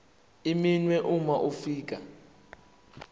iminwe uma ufika